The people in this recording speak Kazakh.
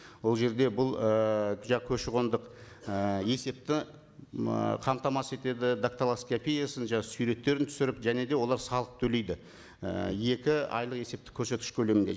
ол жерде бұл і көші қондық і есепті м ы қамтамасыз етеді дактилоскопиясын жаңа суреттерін түсіріп және де олар салық төлейді і екі айлық есептік көрсеткіш көлемінде